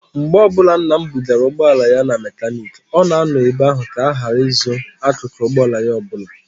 Mgbe ọbụla nna m bugara ụgbọala ya na mekaniiki, ọ na-anọ ebe ahụ ka a ghara izu akụkụ ụgbọala ya ọbụla.